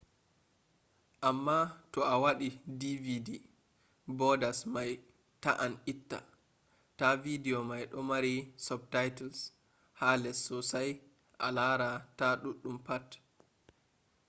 amma to a waɗi dvd borders mai ta’an itta ta video mai ɗo mari subtitles ha les sossai a lara ta ɗum pat